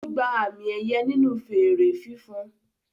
Ó gba àmì-ẹ̀yẹ nínú fèèrè fífan.